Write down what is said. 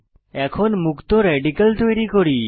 এখন মুক্ত রেডিক্যাল তৈরি করি